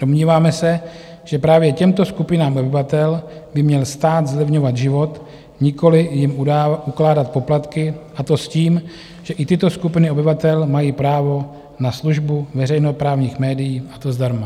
Domníváme se, že právě těmto skupinám obyvatel by měl stát zlevňovat život, nikoliv jim ukládat poplatky, a to s tím, že i tyto skupiny obyvatel mají právo na službu veřejnoprávních médií, a to zdarma.